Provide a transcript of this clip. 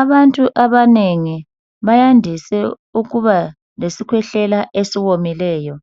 Abantu abanengi abayendise ukuba lesikhwehlela esiwomileyo,